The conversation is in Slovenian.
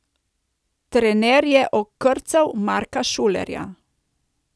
Trener je okrcal Marka Šulerja.